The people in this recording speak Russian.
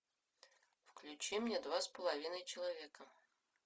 включи мне два с половиной человека